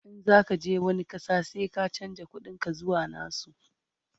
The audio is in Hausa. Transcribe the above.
in zaka je wani ƙasa sai ka chanza ƙuɗin ka zuwa nasu